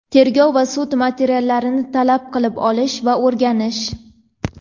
tergov va sud materiallarini talab qilib olish va o‘rganish;.